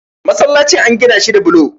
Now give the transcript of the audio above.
masallacin an Gina shi da bulo